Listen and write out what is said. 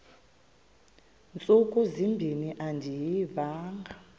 ntsuku zimbin andiyivanga